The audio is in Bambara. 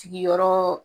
Sigiyɔrɔɔ